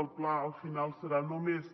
el pla al final serà només